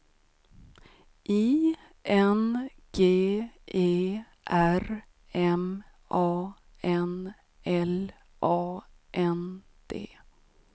I N G E R M A N L A N D